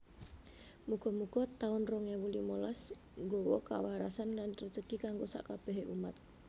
Mugo mugo taun rong ewu limolas nggowo kawarasan lan rejeki kanggo sak kabehe umat